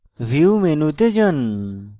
view মেনুতে যান